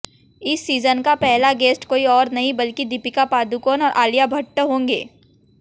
इस सीजन का पहला गेस्ट कोई और नहीं बल्कि दीपिका पादुकोण और अलिया भट्ट होंगे